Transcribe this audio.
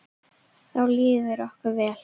Þá líður okkur vel.